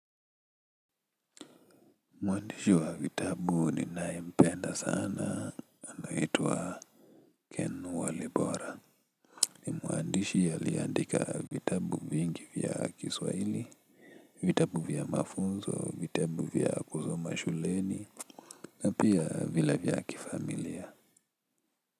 Mwandishi wa vitabu ninaye mpenda sana anaitwa Ken Walibora. Mwandishi aliandika vitabu vingi vya kiswahili, vitabu vya mafunzo, vitabu vya kusoma shuleni, na pia vile vya kifamilia.